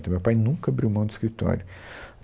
Então, meu pai nunca abriu mão do escritório.